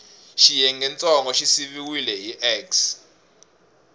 xiyengentsongo xi siviwile hi x